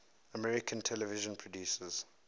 american television producers